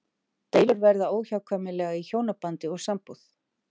Deilur verða óhjákvæmilega í hjónabandi og sambúð.